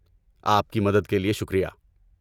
آپ کی مدد کے لیے شکریہ۔